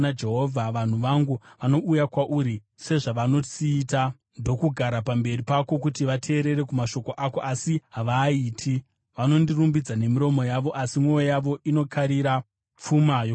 Vanhu vangu vanouya kwauri, sezvavanosiita, ndokugara pamberi pako kuti vateerere kumashoko ako, asi havaaiti. Vanondirumbidza nemiromo yavo, asi mwoyo yavo inokarira pfuma yokusarurama.